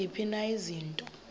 ziziphi na izinto